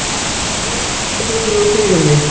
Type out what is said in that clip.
Grjót hafði hrunið úr hlíðinni